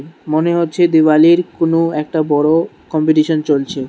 মনে হচ্ছে দিওয়ালির কোন একটা বড় কম্পিটিশন চলছে।